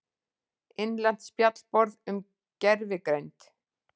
Innlent spjallborð um gervigreind.